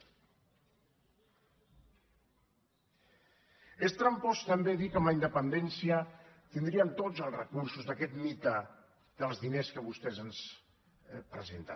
és trampós també dir que amb la independència tindríem tots els recursos d’aquest mite dels diners que vostès ens presenten